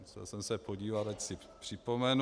Musel jsem se podívat, ať si připomenu.